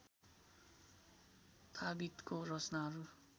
थाबितको रचनाहरू